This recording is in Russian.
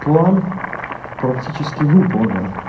план практически выполнен